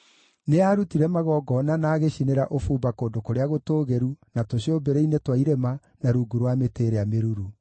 Nĩaarutire magongona na agĩcinĩra ũbumba kũndũ kũrĩa gũtũũgĩru, na tũcũmbĩrĩ-inĩ twa irĩma, na rungu rwa mĩtĩ ĩrĩa mĩruru.